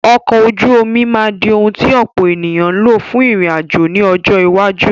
Ọkọ̀ ojú omi máa di ohùn tí tí ọ̀pọ̀ ènìyàn ń lò fún ìrìn àjò ní ọjọ́ iwájú.